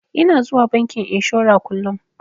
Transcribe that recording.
Ina zuwa bankin inshora kullun.